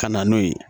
Ka na n'o ye